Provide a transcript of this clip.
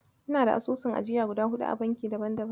Ina da asusun ajiya guda huɗu a bankuna daban-daban.